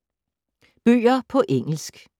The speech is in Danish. Bøger på engelsk